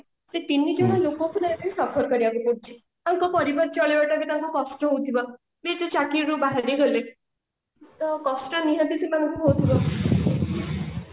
ସେଇ ତିନିଜଣ ଲୋକଙ୍କୁ ନା ଏବେ suffer କରିବାକୁ ପଡୁଛି ଆଉ ତାଙ୍କ ପରିବାର ଚଳେଇବା ଟା ତାଙ୍କୁ କଷ୍ଟ ହଉଥିବ ଯେହେତୁ ଚାକିରି ରୁ ବାହାରିଗଲେ ତ କଷ୍ଟ ନିହାତି ତାଙ୍କୁ ହଉଥିବ